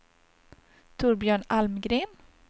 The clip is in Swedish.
Torbjörn Almgren